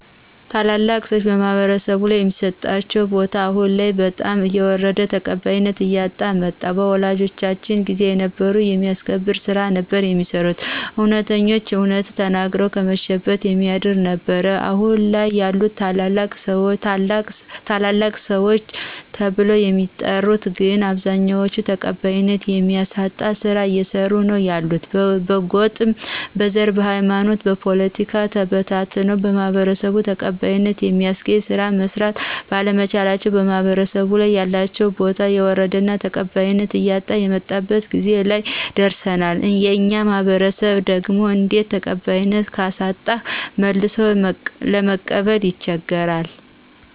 ታላላቅ ሰዎች በማህበረሰቡ የሚሰጣቸው ቦታ አሁን ላይ በጣም እየወረደ ተቀባይነት እያጣ መጧል በወላጆቻችን ጊዜ የነበሩት የሚያስከብር ስራ ነበር የሚሰሩት እውነተኞች እውነትን ተናግረው ከመሸበት የሚያድሩ ነበሩ አሁን ላይ ያሉት ታላላቅ ሰዎች ተብለው የሚጠሪት ግን አብዛኛዎቹ ተቀባይነት የሚያሳጣ ስራ እየሰሩ ነው ያሉት በጎጥ: በዘር: በሃይማኖትና በፖለቲካ ተተብትበው በማህበረሰቡ ተቀባይነተ የሚያስገኝ ስራ መስራት ባለመቻላቸው በማህበረሰቡ ያላቸው ቦታ የወረደና ተቀባይነት እያጡ የመጡበት ጊዜ ላይ ደረሰናል የኛ ማህበረሰብ ደግሞ አንዴ ተቀባይነት ካሳጣ መልሶ ለመቀበል ይቸገራል።